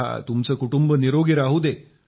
तुमचे कुटुंब निरोगी राहुदे